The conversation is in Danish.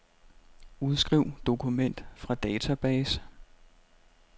Udskriv dokument fra database.